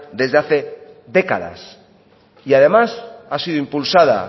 desde hace décadas y además ha sido impulsada